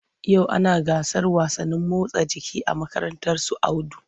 Yau ana gasar wasannin motsa jiki a makarantar su Audu.